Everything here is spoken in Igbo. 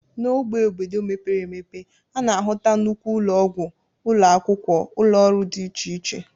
N'ógbè obodo mepere emepe, a na-ahụta nnukwu ụlọọgwụ, ụlọ akwụkwọ, ụlọọrụ dị iche iche